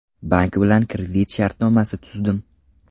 Bank bilan kredit shartnomasi tuzdim.